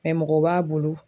mɔgɔ b'a bolo